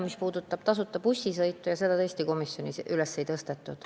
Mis puudutab tasuta bussisõitu, siis seda teemat komisjonis üles ei tõstetud.